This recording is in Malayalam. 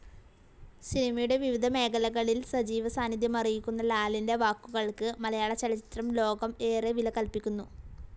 സിനിമയുടെ വിവിധ മേഖലകളിൽ സജീവ സാനിദ്ധ്യമറിയിക്കുന്ന ലാലിൻ്റെ വാക്കുകൾക്ക് മലയാളചലച്ചിത്രം ലോകം ഏറെ വില കൽപ്പിക്കുന്നു.